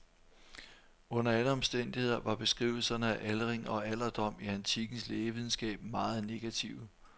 Under alle omstændigheder var beskrivelserne af aldring og alderdom i antikkens lægevidenskab meget negative.